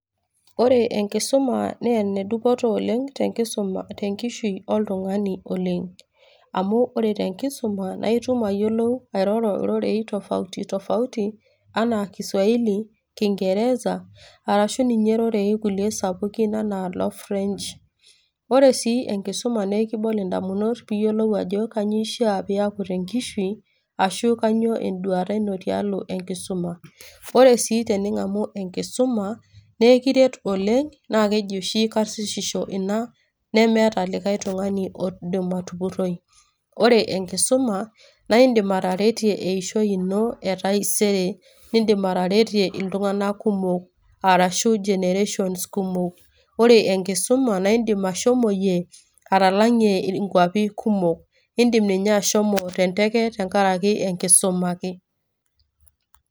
Ore enkisuma naa enedupoto oleng tenkisuma tenkishui oltung'ani oleng. Amu ore tenkisuma naa itum ayiolou airoro ororei tofauti tofauti ,anaa Kiswahili, kingereza, arashu ninye irorei kulie sapukin enaa no French. Ore sii enkisuma na ekinol indamunot piyiolou ajo kanyioo ishaa piaku tenkishui, ashu kanyioo eduata ino tialo enkisuma. Ore si tening'amu enkisuma, na ekiret oleng',na keji oshi karsisisho ina, nemeta likae tung'ani oidim atupurroi. Ore enkisuma, naidim ataretie eishoi ino etaisere. Idim ataretie iltung'anak kumok arashu generations kumok. Ore enkisuma, naidim ashomoyie atalang'ie inkwapi kumok. Idim ninye ashomo tenteke tenkaraki enkisuma ake.